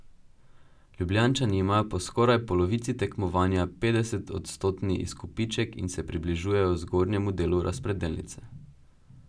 Ljubljančani imajo po skoraj polovici tekmovanja petdesetodstotni izkupiček in se približujejo zgornjemu delu razpredelnice.